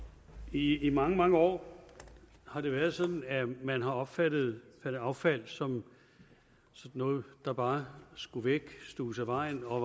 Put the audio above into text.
i mange mange år har det været sådan at man har opfattet affald som noget der bare skulle væk stuves af vejen og